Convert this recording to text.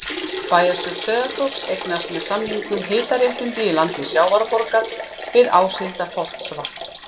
Bæjarstjórn Sauðárkróks eignaðist með samningum hitaréttindi í landi Sjávarborgar við Áshildarholtsvatn.